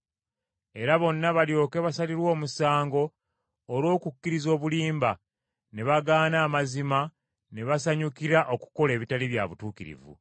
Era bonna balyoke basalirwe omusango olw’okukkiriza obulimba, ne bagaana amazima ne basanyukira okukola ebitali bya butuukirivu.